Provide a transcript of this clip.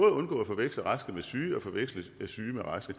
at undgå at forveksle raske med syge og forveksle syge med raske